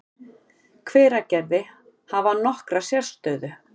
Hveragerði, hafa nokkra sérstöðu.